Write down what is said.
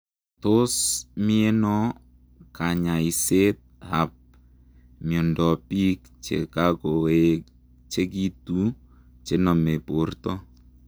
Tos mienoo kanyaiseet ap miondoop piik chekakoechegituu chenome portoo?